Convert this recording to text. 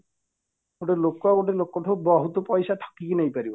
ଗୋଟେ ଲୋକ ଗୋଟେ ଲୋକଠୁ ବହୁତ ପଇସା ଠକିକି ନେଇ ପାରିବ